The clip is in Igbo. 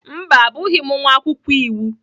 Mba, Abụghị m nwa akwụkwọ iwu.